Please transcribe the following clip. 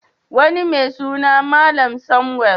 Wani mai suna Malam Samuel.